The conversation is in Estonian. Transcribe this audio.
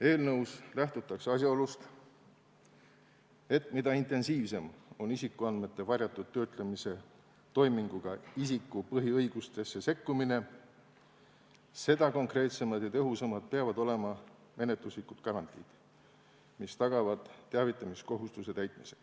Eelnõus lähtutakse asjaolust, et mida intensiivsem on isikuandmete varjatud töötlemise toiminguga isiku põhiõigustesse sekkumine, seda konkreetsemad ja tõhusamad peavad olema menetluslikud garantiid, mis tagavad teavitamiskohustuse täitmise.